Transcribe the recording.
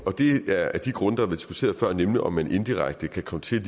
og det er af de grunde der blev diskuteret før nemlig om man inddirekte kan komme til